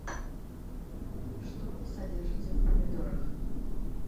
что содержится в помидорах